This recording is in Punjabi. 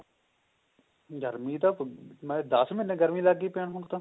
ਗਰਮੀ ਤਾਂ ਫੁਲ ਮੈਂ ਕਿਹਾ ਦਸ ਮਹੀਨੇ ਗਰਮੀ ਲੱਗ ਗਈ ਹੁਣ